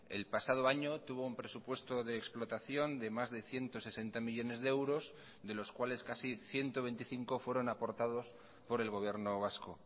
el pasado año tuvo un presupuesto de explotación de más de ciento sesenta millónes de euros de los cuales casi ciento veinticinco fueron aportados por el gobierno vasco